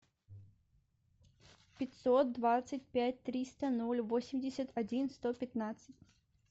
пятьсот двадцать пять триста ноль восемьдесят один сто пятнадцать